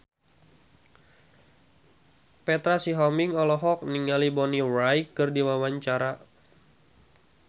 Petra Sihombing olohok ningali Bonnie Wright keur diwawancara